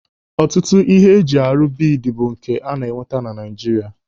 Ọtụtụ ihe ndị eji arụ biidi bụ nke ana-enweta na Naijiria.